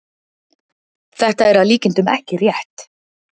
Þetta er að líkindum ekki rétt.